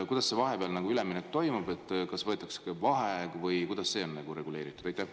Kuidas vahepeal üleminek toimub, kas võetakse vaheaeg või kuidas see on reguleeritud?